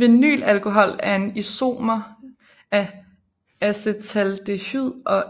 Vinylalkohol er en isomer af acetaldehyd og